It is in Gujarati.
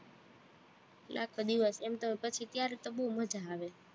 એટલે આખો દિવસ, એમ તો પછી ત્યારે તો બોવ મજા આવે